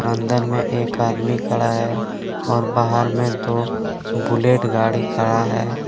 अंदर में एक आदमी खड़ा है और बाहर में दो बुलेट गाड़ी खड़ा है।